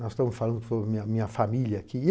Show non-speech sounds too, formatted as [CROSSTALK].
Nós estamos falando [UNINTELLIGIBLE] minha minha família aqui.